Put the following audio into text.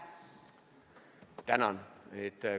Tänan!